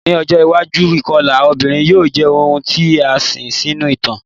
Ni ojo iwaju ikọla obinrin yoo jẹ ohun ti a sin sinu itan